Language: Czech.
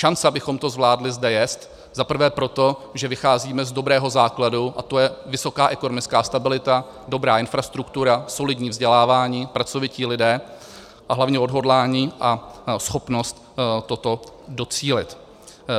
Šance, abychom to zvládli, zde je zaprvé proto, že vycházíme z dobrého základu, a to je vysoká ekonomická stabilita, dobrá infrastruktura, solidní vzdělávání, pracovití lidé a hlavně odhodlání a schopnost toho docílit.